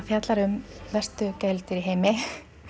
fjallar um verstu gæludýr í heimi